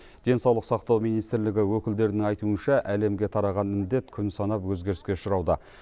денсаулық сақтау министрлігі өкілдерінің айтуынша әлемге тараған індет күн санап өзгеріске ұшырауда